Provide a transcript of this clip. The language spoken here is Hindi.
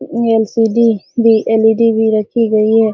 एल.सी.डी. भी एल.ई.डी. भी रखी गई है |